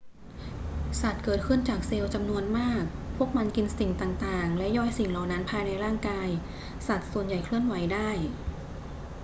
สัตว์เกิดขึ้นจากเซลล์จำนวนมาก พวกมันกินสิ่งต่าง ๆ และย่อยสิ่งเหล่านั้นภายในร่างกาย สัตว์ส่วนใหญ่เคลื่อนไหวได้